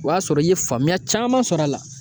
O y'a sɔrɔ i ye faamuya caman sɔrɔ a la.